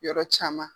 Yɔrɔ caman